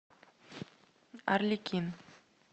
арлекин